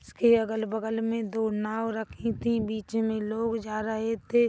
उसके-अगल बगल मे दो नावँ रखीं थी बीच मे लोग जा रहे थे।